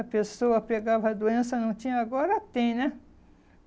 A pessoa pegava a doença, não tinha, agora tem, né?